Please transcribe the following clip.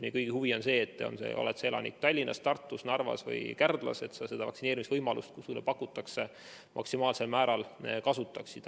Meie kõigi huvi on see, et sa vaktsineerimise võimalust – ela sa Tallinnas, Tartus, Narvas või Kärdlas –, kui seda sulle pakutakse, maksimaalsel määral kasutaksid.